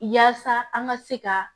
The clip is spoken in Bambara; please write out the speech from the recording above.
Yaasa an ka se ka